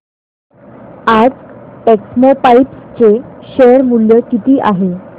आज टेक्स्मोपाइप्स चे शेअर मूल्य किती आहे